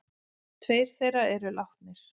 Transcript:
Tveir þeirra eru látnir.